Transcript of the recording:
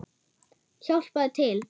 Hjálpað til!